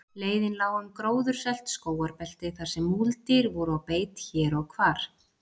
Leiðin lá um gróðursælt skógarbelti þarsem múldýr voru á beit hér og hvar.